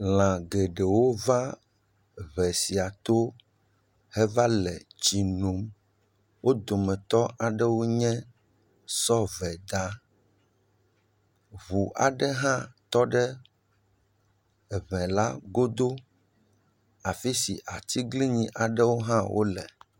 Lã geɖewo va ŋe sia to heva le tsi nom. Wo dometɔ aɖewo nye, sɔveda, ŋuu aɖe hã tɔ ɖe eŋe la godo afi si atiglinyi aɖewo hã wo le.